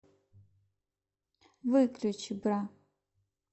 выключи бра